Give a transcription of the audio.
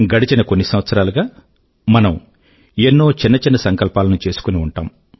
గడిచిన కొన్ని సంవత్సరాలు గా మనం ఎన్నో చిన్న చిన్న సంకల్పాల ను చేసుకుని ఉంటాము